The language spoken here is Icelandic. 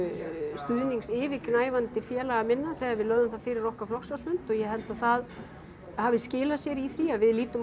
stuðnings yfirgnæfandi félaga minna þegar við lögðum það fyrir okkar flokksráðsfund og ég held að það hafi skilað sér í því að við lítum á